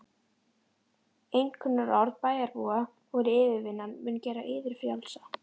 Einkunnarorð bæjarbúa voru: yfirvinnan mun gera yður frjálsa.